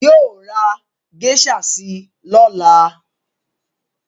Yóò ra geisha si lọ́la